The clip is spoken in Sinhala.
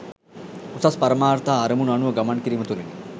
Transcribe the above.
උසස් පරමාර්ථ හා අරමුණු අනුව ගමන් කිරීම තුළිනි.